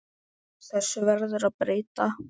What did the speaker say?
Þessu verður að breyta!